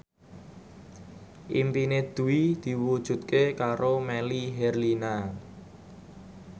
impine Dwi diwujudke karo Melly Herlina